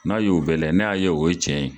N'a y'o bɛɛ layɛ n'a y'a ye o bɛɛ ye cɛn ye